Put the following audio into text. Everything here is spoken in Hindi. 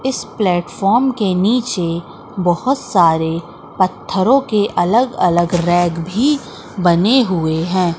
इस प्लेटफ़ॉर्म के नीचे बहुत सारे पत्थरों के अलग अलग रैक भी बने हुए हैं।